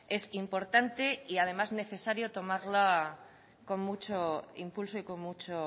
es importante y además necesario tomarlo con mucho impulso y con mucho